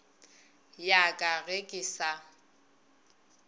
ya ka ge ke sa